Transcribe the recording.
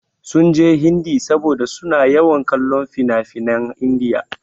Sun jin Hindi saboda su na yawan kallon finafinan India.